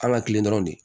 An ka kilen dɔrɔnw de